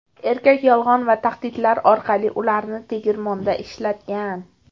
Erkak yolg‘on va tahdidlar orqali ularni tegirmonda ishlatgan.